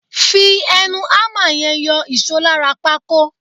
Fi ẹnu hámà yẹn yọ ìṣó lára pákó.